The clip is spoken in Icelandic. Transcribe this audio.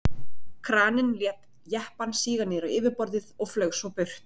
Kraninn lét jeppann síga niður á yfirborðið og flaug svo burt.